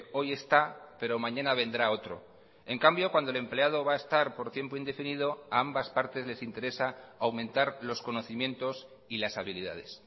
hoy está pero mañana vendrá otro en cambio cuando el empleado va a estar por tiempo indefinido a ambas partes les interesa aumentar los conocimientos y las habilidades